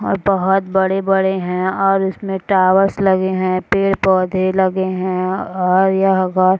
और बहोत बड़े-बड़े हैं और उसमें टॉवर्स लगे हैं पेड़-पौधे लगे हैं और यह --